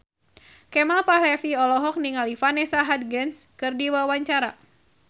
Kemal Palevi olohok ningali Vanessa Hudgens keur diwawancara